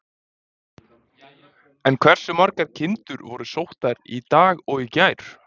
En hversu margar kindur voru sóttar í dag og í gær?